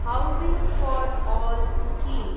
housing for all scheme